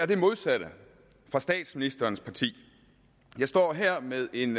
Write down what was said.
det modsatte af statsministerens parti jeg står her med en